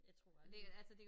Jeg tror aldrig